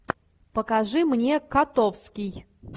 покажи мне котовский